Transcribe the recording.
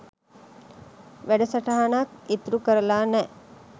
වැඩසටහනක් ඉතුරු කරල නෑ